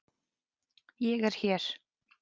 Ég er hér.